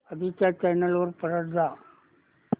आधी च्या चॅनल वर परत जा